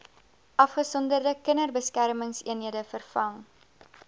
afgesonderde kinderbeskermingseenhede vervang